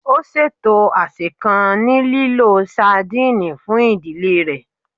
Ó ṣètò àsè kan ní lílo sadìnìnnì fún ìdílé rẹ̀